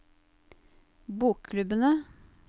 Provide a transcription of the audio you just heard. bokklubbene